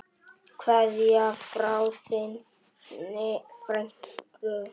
Kveðja frá þinni frænku.